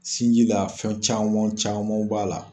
Sinji la fɛn camanw camanw b'a la.